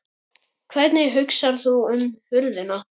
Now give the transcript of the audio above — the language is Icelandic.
Hvernig hugsar þú um húðina?